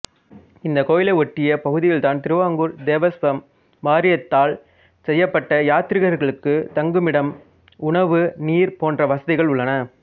இந்தக் கோயிலை ஒட்டிய பகுதியில்தான் திருவாங்கூர் தேவஸ்வம் வாரியத்தால் செய்யபட்ட யாத்ரீகர்களுக்கு தங்குமிடம் உணவு நீர் போன்ற வசதிகள் உள்ளன